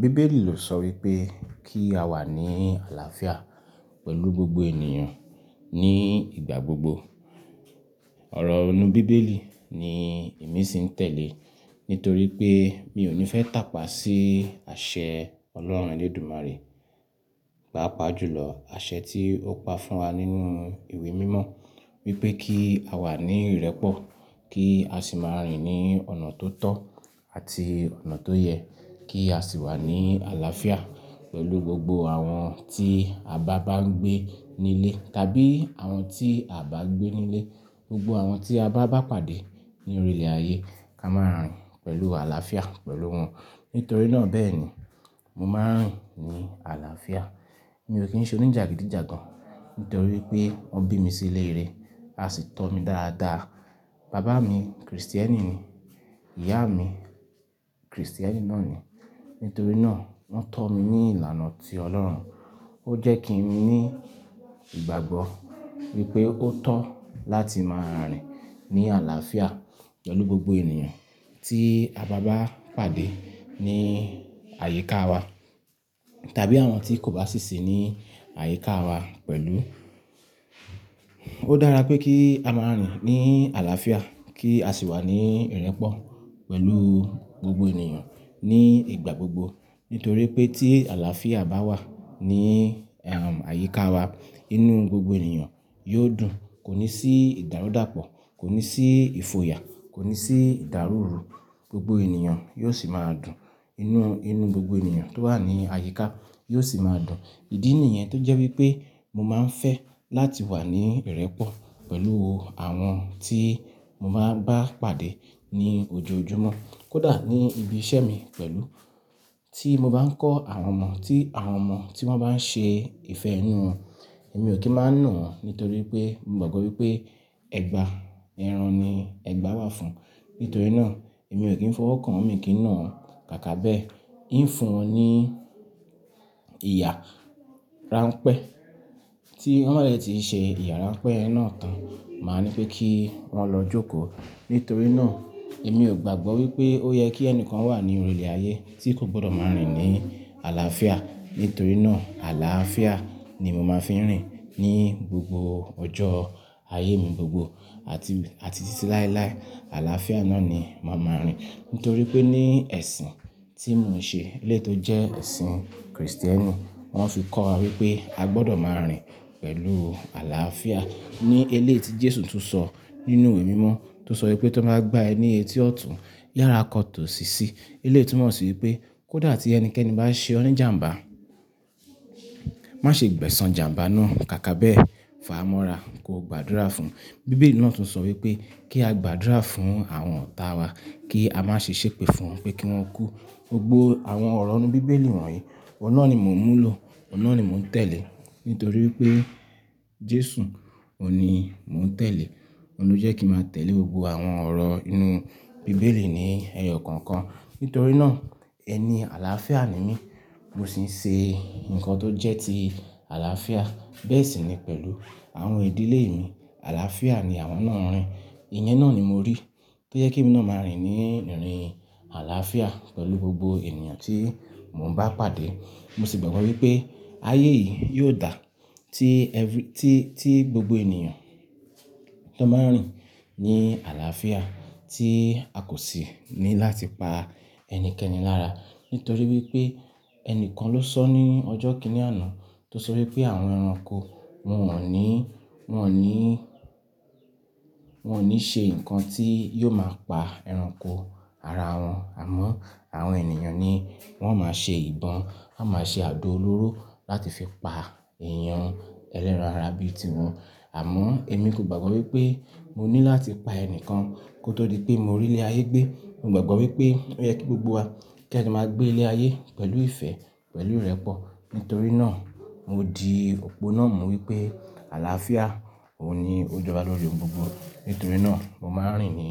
Bíbélì ló sọ wípé kí a wà ní àlàáfíà pẹ̀lú gbogbo ènìyàn ní ìgbà gbogbo. Ọ̀rọ̀ inú bíbélì ni èmi sì ń tẹ̀lé nítorí pé mi ò ní fẹ́ tàpá sí àṣẹ Ọlọ́run Elédùmarè, pàápàá jùlọ àṣẹ tí ó pa fún wa nínú ìwé mímọ́ wípé kí a wà ní ìrẹ́pọ̀, kí a sì máa rìn ní ọ̀nà tó tọ́ àti ọ̀nà tó yẹ, kí a sì wà ní àlàáfíà pẹ̀lú gbogbo àwọn tí a bá bá ń gbé nílé tàbí àwọn tí a o bá gbẹ́ nílé. Gbogbo àwọn tí a bá bá pàdé ní orí ilẹ̀ ayé ká máa rìn pẹ̀lú àlàáfíà pẹ̀lú wọn. Nítorí náà bẹ́ẹ̀ ni mo máa ń rìn ní àlàáfíà. Mi ò kí ń ṣe oníjàgídíjàgan nítorí pé wọ́n bí mi sí ilé rere a sì tọ́ mi dáadáa. Bàbá mi Krìstẹ́nì ni, ìyá mi Krìstẹ́nì náà ni. Nítorí náà wọ́n tọ́ mi ní ìlànà ti Ọlọ́run. Ó jẹ́ kí mi ní ìgbàgbọ́ wípé ó tọ́ láti máa rìn ní àlàáfíà pẹ̀lú gbogbo ènìyàn tí a bá bá pàdé ní àyíká wa tàbí àwọn tí kò bá sì sí ní àyíká wa pẹ̀lú. Ó dára pé kí a máa rìn ní àlàáfíà kí a sì wà ní ìrẹ́pọ̀ pẹ̀lú gbogbo ènìyàn ní ìgbà gbogbo. Nítorí pé tí àlàáfíà bá wà ní, àyíká wa, inú gbogbo ènìyàn yóò dùn, kò ní sí ìdàrúdàpọ̀, kò ní sí ìfòyà, kò ní sí ìdárùúru. Gbogbo ènìyàn yóò sì máa dùn. Inú, inú gbogbo ènìyàn tó wà ní àyíká yóò sì máa dùn. Ìdí nìyẹn tó jẹ́ wípé mo máa ń fẹ́ láti wà ní ìrẹ́pọ̀ pẹ̀lú àwọn tí mo bá bá pàdé ní ojoojúmọ́. Kódà ní ibi iṣẹ́ mi pẹ̀lú tí mo bá ń kọ́ àwọn ọmọ, tí àwọn ọmọ tí wọ́n bá ń ṣe ìfẹ́ inu won, èmi ò kí máa nà wọ́n nítorí pé mo gbàgbọ́ wípé ẹ̀gbà ẹran ni ẹgbà wa fún. Nítorí náà èmi ò kí ń fọwọ́ kan, mi ò kí ń nà wọ́n. Kàkà bẹ́, n fun won ní ìyá ranpẹ́. Tí wọ́n ba de tí ì ṣe ìyára pẹ́ náà tán, màá ní pé kí wọ́n lọ jókòó. Nítorí náà èmi ò gbàgbọ́ wípé ó yẹ kí ẹnìkan wà ní orí ilẹ̀ ayé tí kò gbọ́dọ̀ máa rìn ní àlàáfíà. Nítorí náà àlàáfíà ni mo máa fi ń rìn ní gbogbo ọjọ́ ayé mi gbogbo àti, àti títí láéláé. Àlàáfíà náà ni màá máa rìn. Nítorí pé ní ẹ̀sìn tí mò ń ṣe eléyìí tó jẹ́ ẹ̀sìn kìrìsìtẹ́nì, wọ́n fi kọ́ wa wípé a gbọ́dọ̀ máa rìn pẹ̀lú àlàáfíà. Ní eléyìí tí Jésù tún sọ nínú ìwé mímọ́ tó sọ wípé ti wón bá gbá ẹ ni eti ọ̀tún yàrá kọ tó sì sí. Eléyìí tún mo sì wípé kó dà tí ẹnikẹ́ni bá ṣe ọ́ ni jàmbá, má ṣe gbẹ̀san jàmbá náà. Kàkà bẹ́, fà á mọ́ra, kó gbàdúrà fún. Bíbélì náà tún sọ wípé kí á gbàdúrà fún àwọn ọ̀tá wa, kí á má ṣe ṣépè fún wọn pé kí wọ́n kú. Gbogbo àwọn ọ̀rọ̀ inú bíbélì wọ̀nyí, ọ̀un nà ni mò ń mú lọ, oun nà ni mò ń tẹ̀lé. Nítorí wipé Jésù òun ni mò ń tẹ̀lé. Òun ló jẹ́ kí màá tẹ̀lé gbogbo àwọn ọ̀rọ̀ inú bíbélì ní ẹyọ kọ̀ọ̀kan. Nítorí náà ẹni àlàáfíà ni mí. Mo sì ń ṣe nǹkan tó jẹ́ ti àlàáfíà. Bẹ́ẹ̀ sì ni pẹ̀lú àwọn ìdílé mi. Àlàáfíà ni àwọn náà ń rìn. Ìyẹn náà ni mo rí tó jẹ́ ke mi náà máa rìn ní ìrìn àlàáfíà pẹ̀lú gbogbo ènìyàn tí mò ń bá pàdé. Mo sì gbàgbọ́ wípé ayé yìí yóò dà tí every-- tí, tí gbogbo ènìyàn tó bá ń rìn ní àlàáfíà tí a kò sì ní láti pa ẹnikẹ́ni lára. Nítorí wípé ẹnìkan ló sọ ní ọjọ́ kìíní àná tó sọ wípé àwọn ẹranko wọ́n wọ́n ò ní, wọ́n ò ní, wọ́n ò ní ṣe nǹkan tí yóò máa pa ẹranko ara wọn. Àmọ́ àwọn ènìyàn ni wọ́n máa ń ṣe ìbọn, wọ́n máa ń ṣe àdó olóró láti fi pa èèyàn ẹlẹ́ran ara bí i ti wọn. Àmọ́ èmi kò gbàgbọ́ wípé mo ní láti pa ẹnikẹ́ni kó tó di pé mo rí ilé ayé gbé. Mo gbàgbọ́ wípé ó yẹ kí gbogbo wa kí a lè máa gbé ilé ayé pẹ̀lú ìfẹ́, pẹ̀lú ìrẹ́pọ̀. Nítorí náà mo di òpó náà mú wípé àlàáfíà òun ni ó jọba lórí ohun gbogbo. Nítorí náà mo máa ń rìn ní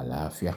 àlàáfíà.